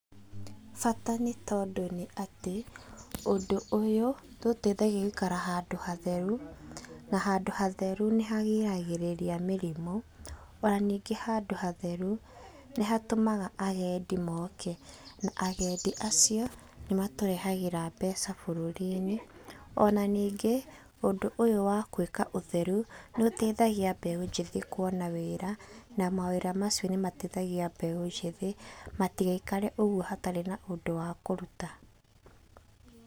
Bata nĩ tondũ nĩ atĩ, ũndũ ũyũ nĩ ũteithagia gũikara handũ hatheru na handũ hatheru, nĩ hagiragĩrĩria mĩrimũ, ona ningĩ handũ hatheru nĩ hatũmaga agendĩ moke, na agendi acio nĩ matũrehagĩra mbeca bũrũrinĩ. Ona ningĩ ũndũ ũyũ wa gwĩka ũtheru, nĩ ũtethagia mbeũ njĩthĩ kuona wĩra na mawĩra macio nĩ mateithagia mbeũ njĩthĩ matigaikare ũguo hatarĩ na ũndũ wa kũruta.